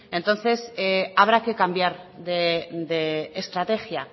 entonces habrá que cambiar de estrategia